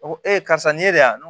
A ko e karisa ni ne y'a mɛn